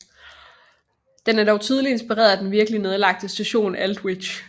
Den er dog tydeligt inspireret af den virkelige nedlagte station Aldwych